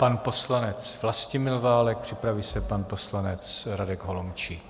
Pan poslanec Vlastimil Válek, připraví se pan poslanec Radek Holomčík.